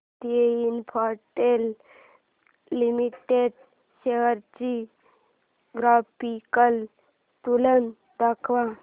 Bharti Infratel limited shares ची graphical तुलना दाखव